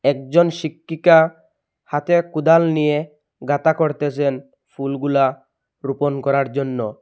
একজন শিক্ষিকা হাতে কুদাল নিয়ে গাঁথা করতেসেন ফুলগুলা রোপণ করার জন্য।